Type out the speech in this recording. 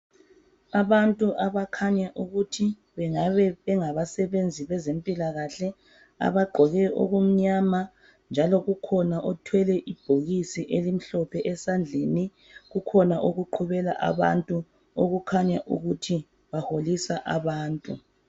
Abantu abakhanya ukuthi bengabe bengabasebenzi bezempilakahle abagqoke okumnyama njalo kukhona othwele ibhokisi elimhlophe esandleni kukhona okuqhubela abantu okukhanya ukuthi baholisa abantu